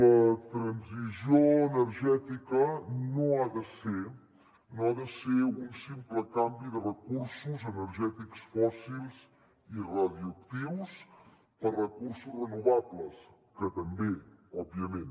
la transició energètica no ha de ser un simple canvi de recursos energètics fòssils i radioactius per recursos renovables que també òbviament